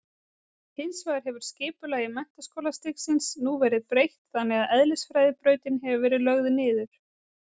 Hins vegar hefur skipulagi menntaskólastigsins nú verið breytt þannig að eðlisfræðibrautin hefur verið lögð niður.